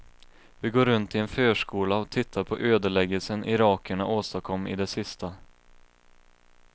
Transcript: Vi går runt i en förskola och tittar på ödeläggelsen irakierna åstadkom i det sista.